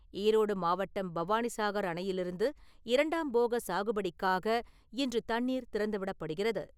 ஈரோடு மாவட்டம் பவானிசாகர் அணையிலிருந்து இரண்டாம் போக சாகுபடிக்காக இன்று தண்ணீர் திறந்துவிடப்படுகிறது.